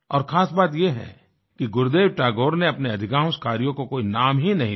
और खास बात ये है कि गुरुदेव टैगोर ने अपने अधिकांश कार्यों को कोई नाम ही नहीं दिया